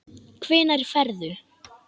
Hvenær ferðu?